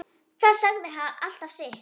Það sagði alltaf sitt.